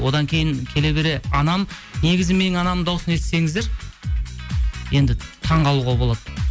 одан кейін келе бере анам негізі менің анамның дауысын естісеңіздер енді таңқалуға болады